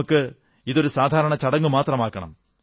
നമുക്ക് ഇതൊരു സാധാരണ ചടങ്ങുമാത്രമാക്കണം